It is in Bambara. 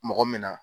Mɔgɔ min na